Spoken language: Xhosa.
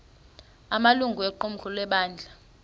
amalungu equmrhu lebandla